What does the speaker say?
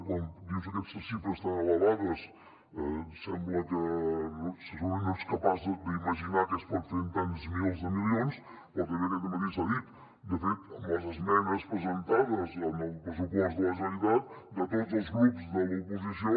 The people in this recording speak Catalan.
quan dius aquestes xifres tan elevades sembla que segurament no ets capaç d’imaginar què es pot fer amb tants milers de milions però també aquest dematí s’ha dit de fet amb les esmenes presentades en el pressupost de la generalitat de tots els grups de l’oposició